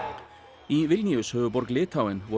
í Vilnius höfuðborg Litháen voru